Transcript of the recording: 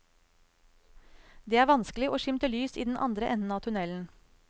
Det er vanskelig å skimte lys i den andre enden av tunnelen.